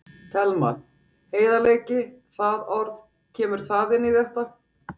Telma: Heiðarleiki, það orð, kemur það inn í þetta?